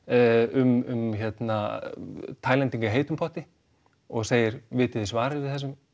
um Tælendinga í heitum potti og segir vitið þið svarið